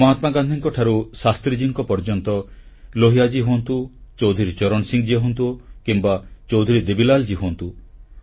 ମହାତ୍ମା ଗାନ୍ଧୀଙ୍କ ଠାରୁ ଲାଲବାହାଦୂର ଶାସ୍ତ୍ରୀଙ୍କ ପର୍ଯ୍ୟନ୍ତ ରାମ ମନୋହର ଲୋହିଆ ହୁଅନ୍ତୁ ଚୌଧୁରୀ ଚରଣ ସିଂ ହୁଅନ୍ତୁ କିମ୍ବା ଚୌଧୁରୀ ଦେବୀଲାଲ ହୁଅନ୍ତୁ